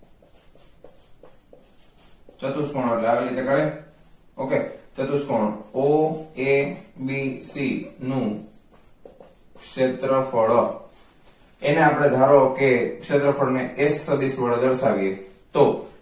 ચતુષ્કોણ એટલે આવી રીતે જ આવે ok ચતુષ્કોણ oabc નુ ક્ષેત્રફળ એને આપણે ધારો કે ક્ષેત્રફળ ને s સદિસ વડે દર્શાવીએ તો